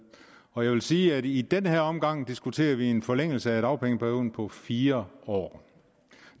og jeg vil sige at i den her omgang diskuterer vi en forlængelse af dagpengeperioden på fire år